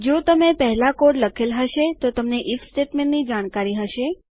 જો તમે પહેલાં કોડ લખેલ હશે તો તમને ઇફ સ્ટેટમેન્ટ ની જાણકારી હશે